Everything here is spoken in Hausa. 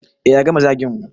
E yanzu ya gama zagin mu